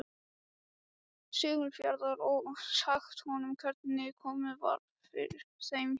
Siglufjarðar, og sagt honum hvernig komið var fyrir þeim hjónum.